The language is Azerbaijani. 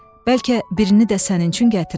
Bəlkə birini də sənin üçün gətirim.